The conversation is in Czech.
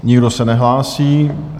Nikdo se nehlásí.